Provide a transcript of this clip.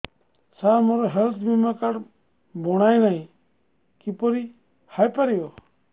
ସାର ମୋର ହେଲ୍ଥ ବୀମା କାର୍ଡ ବଣାଇନାହିଁ କିପରି ହୈ ପାରିବ